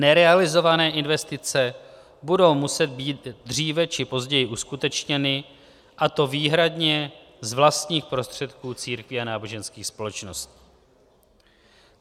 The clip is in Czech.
Nerealizované investice budou muset být dříve či později uskutečněny, a to výhradně z vlastních prostředků církví a náboženských společností.